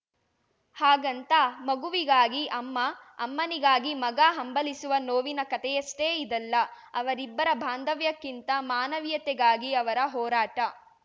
ಹಾಗಂತ ಮಗುವಿಗಾಗಿ ಅಮ್ಮ ಅಮ್ಮನಿಗಾಗಿ ಮಗ ಹಂಬಲಿಸುವ ನೋವಿನ ಕತೆಯಷ್ಟೇ ಇದಲ್ಲ ಅವರಿಬ್ಬರ ಬಾಂಧವ್ಯಕ್ಕಿಂತ ಮಾನವೀಯತೆಗಾಗಿ ಅವರ ಹೋರಾಟ